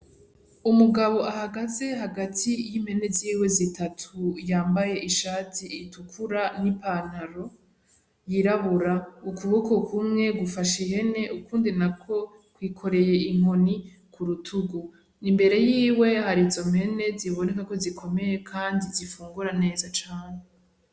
Umugabo ahagaze hagati y'impene ziwe zitatu yambaye ishati itukura n'ipantaro yirabura ukuboko kumwe gufashe impene ukundi nako kwikoreye inkoni ku rutugu imbere yiwe hari izo mpene ziboneka kozikomeye kandi zifungura neza cane.